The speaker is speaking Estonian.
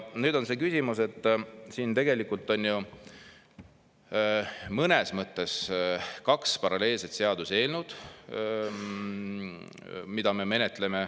Nüüd on see küsimus, et siin on ju mõnes mõttes kaks paralleelset seaduseelnõu, mida me menetleme.